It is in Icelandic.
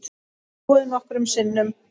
Snúið nokkrum sinnum.